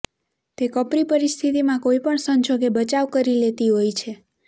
તે કપરી પરિસ્થિતિમાં કોઈપણ સંજોગે બચાવ કરી લેતી હોય છે